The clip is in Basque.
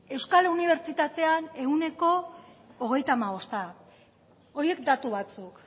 euskal unibertsitatean ehuneko hogeita hamabosta horiek datu batzuk